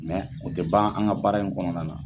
o tɛ ban an ka baara in kɔnɔnana.